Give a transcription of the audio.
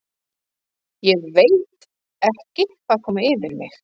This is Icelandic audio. ÉG VEIT ekki hvað kom yfir mig.